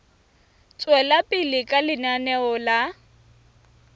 tswela pele ka lenaneo la